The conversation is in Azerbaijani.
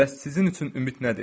Bəs sizin üçün ümid nədir?